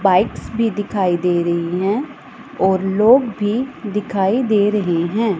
Bikes भी दिखाई दे रही हैं और लोग भी दिखाई दे रहे हैं।